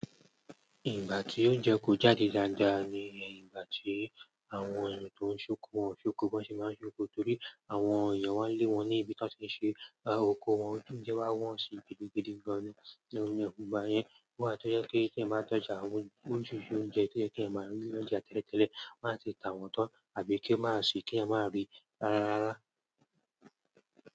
Ìgbà tí oúnjẹ kò jáde dáadáa ni ìgbà tí àwọn ènìyàn tó ń ṣóku wọn ṣóku wọ́n sì máa ń ṣóku torí àwọn ọ̀yà wá lé wọn ní ibi tí wọ́n ti ṣe oku wọn. Oúnjẹ wá wọ́n sì gidigidi gan nínú ẹkùn, báyẹn wà tó jẹ́ pé kí ẹ máa tọ́jú àwọn ojúṣe oúnjẹ kí ẹ máa rí oúnjẹ àtẹ́ẹ̀lẹ́, má sì tà wọ́n tán àbí kí ẹ má sì, kí ẹ má rí rárá.